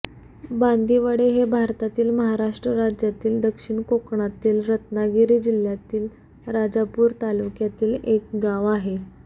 बांदिवडे हे भारतातील महाराष्ट्र राज्यातील दक्षिण कोकणातील रत्नागिरी जिल्ह्यातील राजापूर तालुक्यातील एक गाव आहे